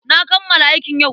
Na kammala aikin yau.